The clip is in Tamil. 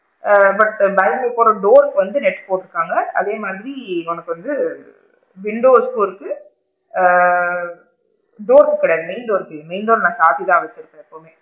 ஆ but balcony க்கு போற door ருக்கு வந்து net போட்டு இருக்காங்க, அதே மாதிரி உனக்கு வந்து windows door ருக்கு, ஆ door ருக்கு கிடையாது main door ருக்கு இல்ல main door ற நான் சாத்திதான் வச்சு இருப்பேன்.